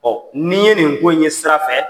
N' i ye nin ye nin ko in ye sira fɛ